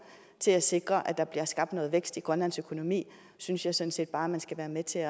til at sikre at der bliver skabt noget vækst i grønlands økonomi synes jeg sådan set bare man skal være med til at